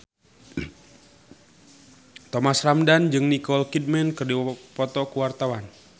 Thomas Ramdhan jeung Nicole Kidman keur dipoto ku wartawan